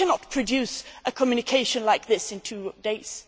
We cannot produce a communication like this in two days.